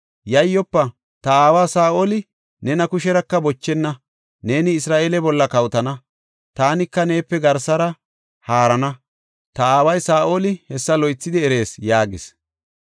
“Yayyofa; ta aawa Saa7oli nena kusheraka bochenna; neeni Isra7eele bolla kawotana; taanika neepe garsara haarana; ta aaway Saa7oli hessa loythidi erees” yaagis.